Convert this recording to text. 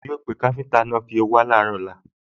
Yóò pé káfíńtà náà pé kí ó wá láàárọ̀ ọ̀lla